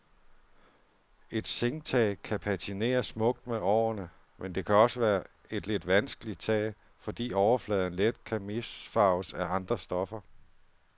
Et zinktag kan patinere smukt med årene, men det kan også være et lidt vanskeligt tag, fordi overfladen let kan misfarves af andre stoffer.